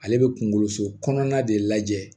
Ale bɛ kunkolo so kɔnɔna de lajɛ